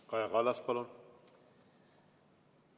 Kaja Kallas, palun!